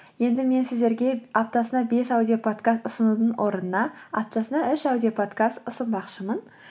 енді мен сіздерге аптасына бес аудиопадкаст ұсынудың орнына аптасына үш аудиоподкаст ұсынбақшымын